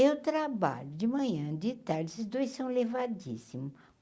Eu trabalho de manhã, de tarde, esses dois são levadíssimos.